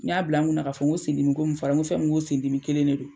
N y'a bila n kunna k'a fɔ n ko sendimi ko fɔra n ko fɛn min n ko sendimi kelen in de don.